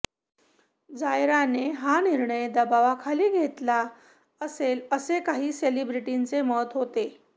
जायराने हा निर्णय दबावाखाली घेतला असेल असे काही सेलेब्रिटीचे मत होते